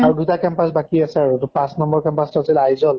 আৰু দুটা campus বাকি আছে আৰু পাঁছ নম্বৰ campus টো আছিল আইযʼল